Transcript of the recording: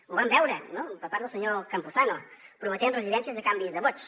ho vam veure per part del senyor campuzano prometent residències a canvi de vots